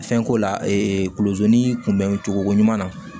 Fɛnko la kulo ni kunbɛn cogoko ɲuman na